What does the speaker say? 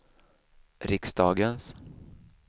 riksdagens